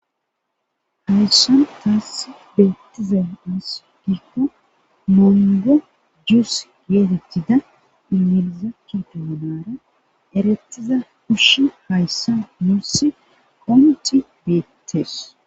Hayssan taassi beettize us gikko mongo jus geetetthida imilizakke doanara erettiza kushshi hayssa muussi komectci beettes